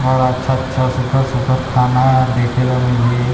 और अच्छा-अच्छा सुघघर-सुघघर खाना देखे ल मिलही--